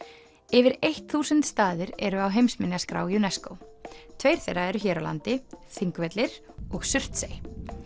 yfir þúsund staðir eru á heimsminjaskrá UNESCO tveir þeirra eru hér á landi Þingvellir og Surtsey